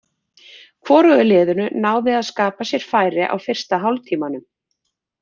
Hvorugu liðinu náði að skapa sér færi á fyrsta hálftímanum.